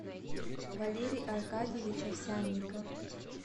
валерий аркадьевич овсянников